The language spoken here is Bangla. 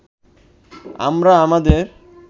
আমরা আমাদের